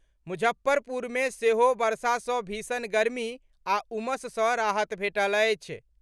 मुजफ्फरपुर मे सेहो वर्षा सॅ भीषण गर्मी आ उमस सॅ राहत भेटल अछि।